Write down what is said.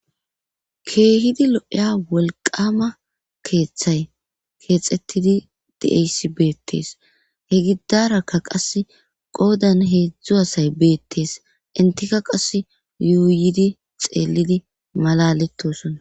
keehidi lo7eya wolqama keeththay keexettidi de7eysi beettees he gidarakka qas qoodan heedzdzu asay beettees intika qas yuuyidi xeellidi malalettosona